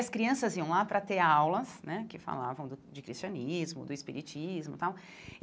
As crianças iam lá para ter aulas né, que falavam do de cristianismo, do espiritismo tal.